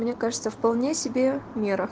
мне кажется вполне себе мера